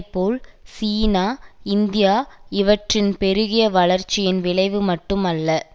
போல் China India இவற்றின் பெருகிய வளர்ச்சியின் விளைவு மட்டும் அல்ல